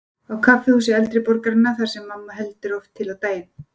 Á kaffihúsi eldri borgaranna, þar sem mamma heldur oft til á daginn.